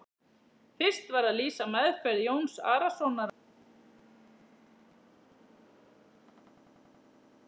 Magnús Hlynur Hreiðarsson: Hvernig datt ykkur þetta í hug?